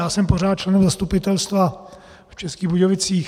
Já jsem pořád členem zastupitelstva v Českých Budějovicích.